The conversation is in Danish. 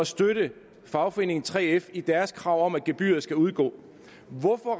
støtte fagforeningen 3f i deres krav om at gebyret skal udgå hvorfor